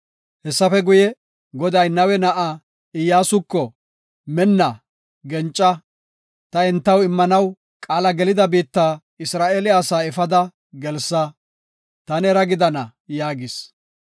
Hessafe guye, Goday Nawe na7aa Iyyasuko, “Minna, genca; ta entaw immanaw qaala gelida biitta Isra7eele asaa efada gelsa. Ta neera gidana” yaagis.